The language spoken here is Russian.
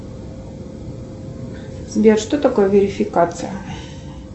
сбер что такое верификация